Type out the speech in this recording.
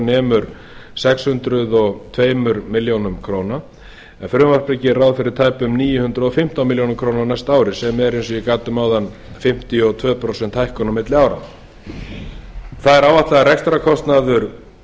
nemur sex hundruð og tvær milljónir króna en frumvarpið gerir ráð fyrir tæpum níu hundruð og fimmtán milljónir króna á næsta ári sem er eins og ég gat um áðan fimmtíu og tvö prósent hækkun á milli ára það er áætlað að rekstrarkostnaður